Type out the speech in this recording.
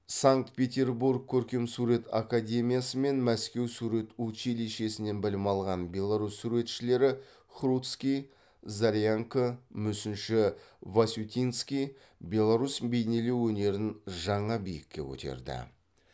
санкт петербург көркемсурет академиясы мен мәскеу сурет училищесінен білім алған беларусь суретшілері хруцкий зарянко мүсінші васютинский беларусь бейнелеу өнерін жаңа биікке көтерді